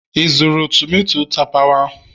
ị zụrụ tomato tapawa?